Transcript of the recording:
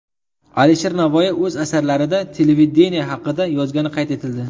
Alisher Navoiy o‘z asarlarida televideniye haqida yozgani qayd etildi.